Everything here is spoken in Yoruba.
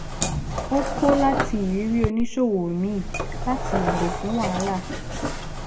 ó kó láti irírí oníṣòwò míì láti yàgò fún wahala